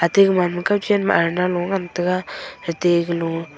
ate gaman ma kochen ma arna lo ngantaga gete galo.